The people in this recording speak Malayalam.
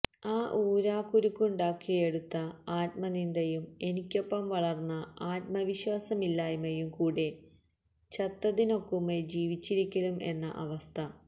ആ ഊരാകുരുക്കുണ്ടാക്കിയെടുത്ത ആത്മനിന്ദയും എനിക്കൊപ്പം വളര്ന്ന ആത്മവിശ്വാസമില്ലായ്മയും കൂടെ ചത്തതിനൊക്കുമേ ജീവിച്ചിരിക്കിലും എന്ന അവസ്ഥ